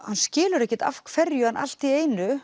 hann skilur ekkert af hverju hann allt í einu